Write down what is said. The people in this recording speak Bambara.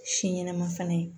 Si ɲɛnama fana